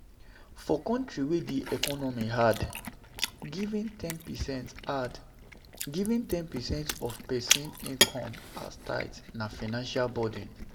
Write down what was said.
For country wey di economy hard, giving ten percent hard, giving ten percent of person income as tithe na financial burden